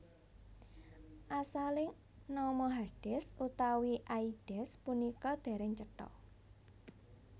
Asaling nama Hades utawi Aides punika dereng cetha